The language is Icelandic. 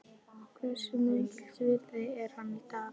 Hversu mikils virði er hann í dag?